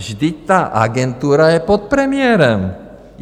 Vždyť ta agentura je pod premiérem.